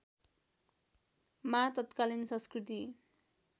मा तत्कालीन संस्कृति